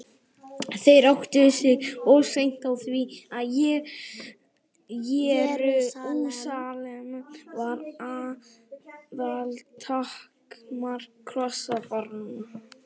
Þeir áttuðu sig of seint á því að Jerúsalem var aðaltakmark krossfaranna.